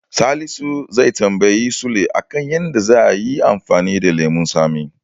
Salisu zai tambayi Sule a kan yadda zanyi amfani da lemon tsami.